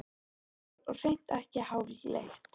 Einfalt mál og hreint ekki háfleygt.